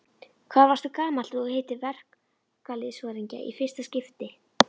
Hvað varstu gamall þegar þú hittir verkalýðsforingja í fyrsta skipti?